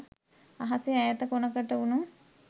අහසෙ ඈත කොණකට වුණු